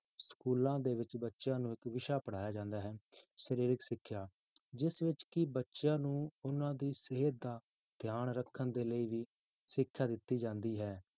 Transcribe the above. Schools ਦੇ ਵਿੱਚ ਬੱਚਿਆਂ ਨੂੰ ਇੱਕ ਵਿਸ਼ਾ ਪੜ੍ਹਾਇਆ ਜਾਂਦਾ ਹੈ, ਸਰੀਰਕ ਸਿੱਖਿਆ, ਜਿਸ ਵਿੱਚ ਕਿ ਬੱਚਿਆਂ ਨੂੰ ਉਹਨਾਂ ਦੀ ਸਿਹਤ ਦਾ ਧਿਆਨ ਰੱਖਣ ਦੇ ਲਈ ਵੀ ਸਿੱਖਿਆ ਦਿੱਤੀ ਜਾਂਦੀ ਹੈ